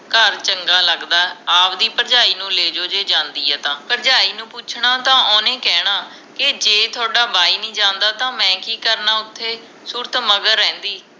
ਘਰ ਚੰਗਾ ਲਗਦਾ ਆਵਦੀ ਭਰਜਾਈ ਨੂੰ ਲੈਜੋ ਜੇ ਜਾਂਦੀ ਹੈ ਤਾਂ ਭਰਜਾਈ ਨੂੰ ਪੁੱਛਣਾ ਤੇ ਓਹਨੇ ਕਹਿਣਾ ਕੇ ਜੇ ਥੋਡਾ ਬਾਈ ਨੀ ਜਾਂਦਾ ਤਾ ਮੈਂ ਕਿ ਕਰਨਾ ਓਥੇ ਸੂਰਤ ਮਗਰ ਰਹਿੰਦੀ